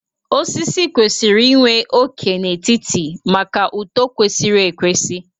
Osisi kwesịrị inwe óké n'etiti maka uto kwesịrị ekwesị